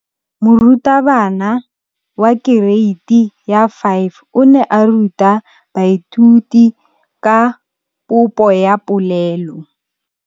Moratabana wa kereiti ya 5 o ne a ruta baithuti ka popô ya polelô.